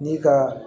Ni ka